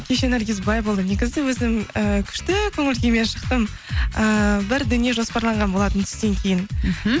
кеше наргиз былай болды негізі өзім ііі күшті көңіл күймен шықтым ііі бір дүние жоспарлаған болатынмын түстен кейін мхм